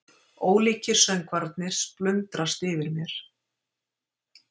Ólíkir söngvarnir splundrast yfir mér.